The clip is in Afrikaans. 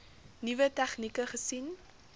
nuwe tegnieke gesien